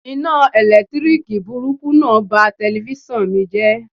Iná ẹ̀lẹ́tíríkì burúkú náà ba telifíṣàn mi jẹ́.